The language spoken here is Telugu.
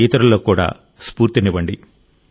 ఇతరులకు కూడా స్ఫూర్తినివ్వండి